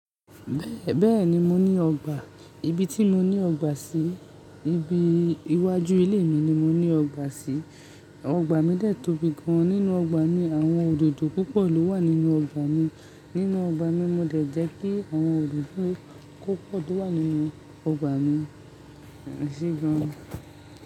Bẹ́ẹ̀ni mo ní ọgbà. Ibi tí mo ní ọgbà sí, ibi iwájú ilé mi ni mo ní ọgbà sí. Ọgbà mi de tóbi gan. Nínú ọgbà mi àwọn òdòdó púpọ̀ ló wà nínú ọgbà mi. Nínú ọgbà mi mo de jẹ́ kí àwọn òdòdó ko pọ̀ tó wà nínú ọgbà mi ese gan.